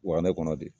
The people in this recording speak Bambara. Wa ne kɔnɔ de